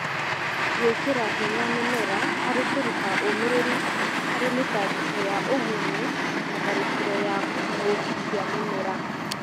Gwĩkĩra hinya mĩmera harĩ kũruta ũmĩrĩru harĩ mĩtangĩko ya ũgunyu na tharĩkĩro ya kĩng'ũki kĩa mĩmera